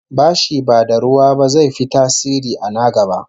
Bashi ba da ruwa ba zai fi tasiri a na gaba